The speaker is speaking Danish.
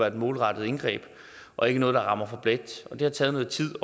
et målrettet indgreb og ikke noget der rammer for bredt og det har taget noget tid